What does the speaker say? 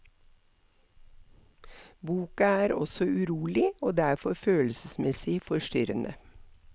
Boka er også urolig, og derfor følelsesmessig forstyrrende.